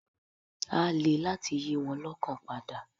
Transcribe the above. Á le láti yí wọn lọ́kàn padà.